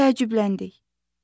Təəccübləndik.